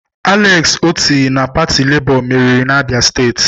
Alex Otti nke pati Labour meriri n'Abia steeti